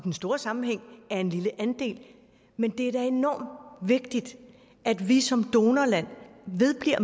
den store sammenhæng er en lille andel men det er da enormt vigtigt at vi som donorland vedbliver